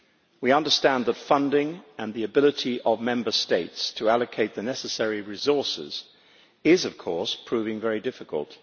We understand that funding, and the ability of Member States to allocate the necessary resources is, of course, proving very difficult.